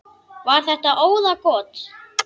Var þetta óðagot?